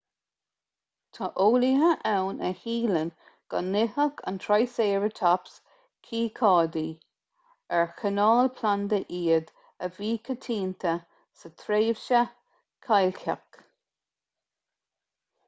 tá eolaithe ann a shíleann go n-itheadh an triceratops cíocáidí ar cineál planda iad a bhí coitianta sa tréimhse chailceach